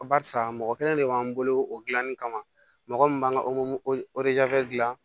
Barisa mɔgɔ kelen de b'an bolo o gilanni kama mɔgɔ min b'an ka gilan